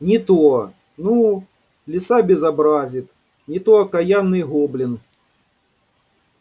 не то ну лиса безобразит не то окаянный гоблин